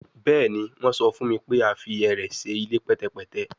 Bẹẹni, wọn sọ fun mi pe a fi ẹrẹ ṣe ile pẹtẹpẹtẹ